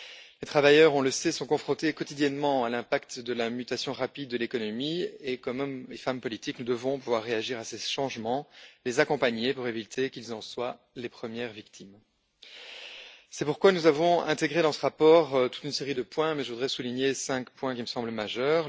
Les travailleurs sont confrontés quotidiennement à l'impact de la mutation rapide de l'économie et, comme hommes et femmes politiques, nous devons pouvoir réagir à ces changements, les accompagner pour éviter qu'ils en soient les premières victimes. C'est pourquoi nous avons intégré dans ce rapport toute une série de points, mais je voudrais souligner cinq points qui me semblent majeurs.